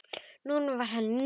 Nú var henni nóg boðið.